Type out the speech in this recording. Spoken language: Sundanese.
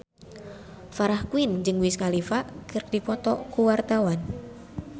Farah Quinn jeung Wiz Khalifa keur dipoto ku wartawan